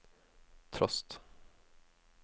trost